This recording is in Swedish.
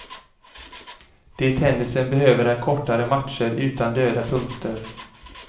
Det tennisen behöver är kortare matcher utan döda punkter.